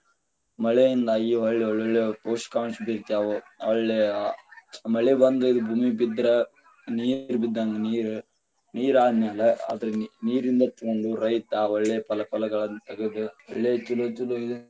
ಮಳೆಯಿಂದಾಗಿ ಹೊಳ್ಳಿ ಒಳ್ಳೆ ಒಳ್ಳೆ ಪೋಷಕಾಂಶ ಬೀಗತವು, ಹೊಳ್ಳಿ ಮಳಿ ಬಂದ ಇದ ಭೂಮಿಗ ಬಿದ್ರ ನೀರ ನೀರ ಆದ್ಮ್ಯಾಲ ನೀರಿಂದ ತಗೊಂಡು ರೈತ ಒಳ್ಳೆ ಫಲ ಫಲಾಗಳನ್ನ ತಗದ ಒಳ್ಳೆ ಚೊಲೊ ಚೊಲೊ.